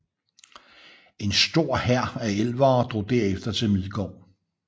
En stor hær af elvere drog derefter til Midgård